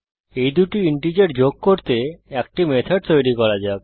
এই দুটি ইন্টিজার যোগ করতে একটি মেথড তৈরি করা যাক